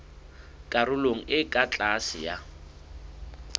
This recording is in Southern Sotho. karolong e ka tlase ya